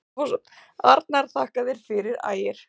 Arnar: Þakka þér fyrir Ægir.